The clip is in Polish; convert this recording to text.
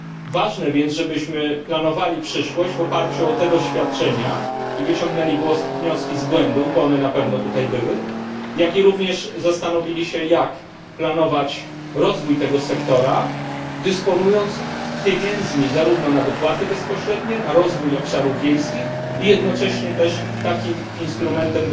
Ważne jest więc, żebyśmy planowali przyszłość w oparciu o te doświadczenia i wyciągnęli wnioski z błędów, bo one na pewno tutaj były, jak i również zastanowili się, jak planować rozwój tego sektora, dysponując pieniędzmi zarówno na dopłaty bezpośrednie, na rozwój obszarów wiejskich i jednocześnie dysponując też takim instrumentem,